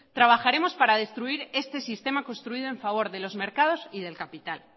trabajaremos para destruir este sistema construido en favor de los mercados y del capital